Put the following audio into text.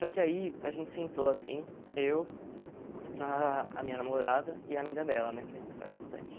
Só que aí a gente sentou assim, eu, ah a minha namorada e a amiga dela, né, que a gente sai bastante.